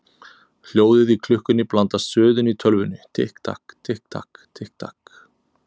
Hljóðið í klukkunni blandast suðinu í tölvunni: Tikk takk, tikk takk, tikk takk.